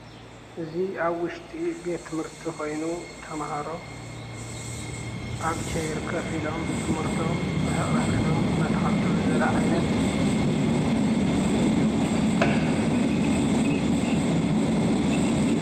እዚ አብ ውሽጢ ቤት ትምህርቲ ኮይኑ ተምሃሮ አብ ቸይር ኮፍ ኢሎም ትምህርቶም ርሕቅ ርሕቅ ኢሎም ኣናተከታተሉ ዘርኢ ዓይነት እዩ፡፡